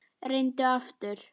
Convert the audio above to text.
Reyndu aftur.